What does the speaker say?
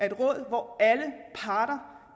et råd hvor alle parter